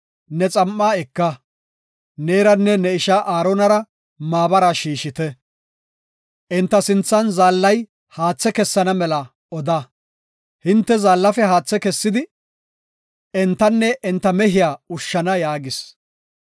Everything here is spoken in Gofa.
“Ne xam7a eka; neeranne ne ishaa Aaronara maabara shiishite. Enta sinthan zaallay haathe kessana mela oda. Hinte zaallafe haathe kessidi, entanne enta mehiya ushshana” yaagis.